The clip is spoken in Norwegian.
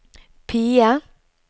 PIE